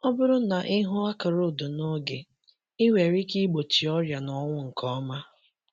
Ọ bụrụ na ị hụ akara odo n’oge, ị nwere ike igbochi ọrịa na ọnwụ nke ọma.